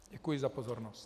Děkuji za pozornost.